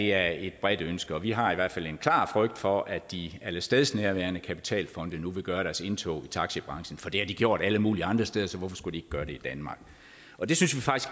er et bredt ønske vi har i hvert fald en klar frygt for at de allestedsnærværende kapitalfonde nu vil gøre deres indtog i taxibranchen for det har de gjort alle mulige andre steder så hvorfor skulle de gøre det i danmark og det synes